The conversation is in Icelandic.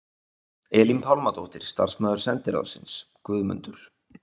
Elín Pálmadóttir starfsmaður sendiráðsins, Guðmundur